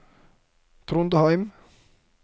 Trondheim